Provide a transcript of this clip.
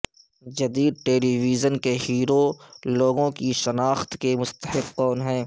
جدید television hero ہیرو لوگوں کی شناخت کے مستحق کون ہیں